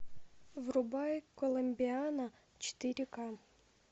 врубай коломбиана четыре ка